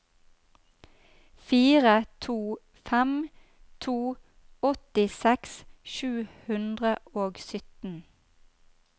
fire to fem to åttiseks sju hundre og sytten